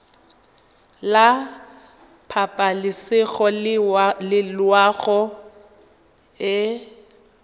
la pabalesego le loago e